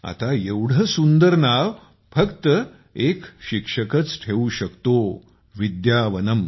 आता एवढे सुंदर नाव फक्त एक शिक्षकच ठेवू शकतो विद्यावनम